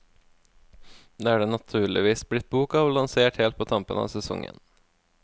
Det er det naturligvis blitt bok av, lansert helt på tampen av sesongen.